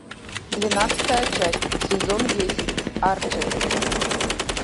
двенадцатая часть сезон десять арчер